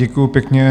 Děkuji pěkně.